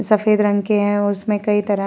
सफ़ेद रंग के हैं। उसमें कई तरह --